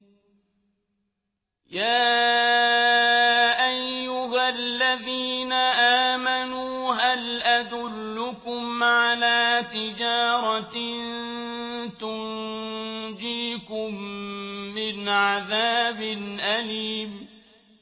يَا أَيُّهَا الَّذِينَ آمَنُوا هَلْ أَدُلُّكُمْ عَلَىٰ تِجَارَةٍ تُنجِيكُم مِّنْ عَذَابٍ أَلِيمٍ